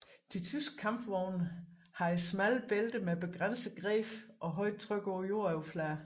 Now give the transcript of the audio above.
De tyske kampvogne havde smalle bælter med begrænset greb og højt tryk på jordoverfladen